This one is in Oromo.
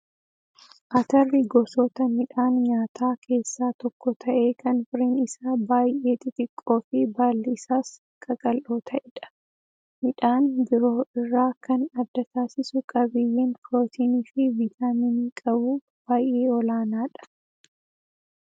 Atarri gosoota midhaan nyaataa keessaa tokko ta'ee kan firiin isaa baay'ee xixiqqoo fi baalli isaas qaqal'oo ta'edha. Midhaan biroo irraa kan adda taasisu qabiyyeen pirootinii fi viitaminii qabuu baay'ee olaanaadha.